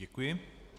Děkuji.